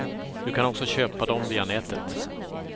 Du kan också köpa dem via nätet.